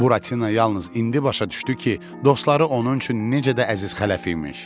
Buratino yalnız indi başa düşdü ki, dostları onun üçün necə də əziz xələf imiş.